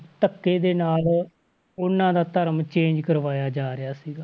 ਧੱਕੇ ਦੇ ਨਾਲ ਉਹਨਾਂ ਦਾ ਧਰਮ change ਕਰਵਾਇਆ ਜਾ ਰਿਹਾ ਸੀਗਾ।